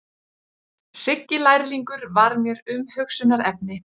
Siggi lærlingur var mér umhugsunarefni.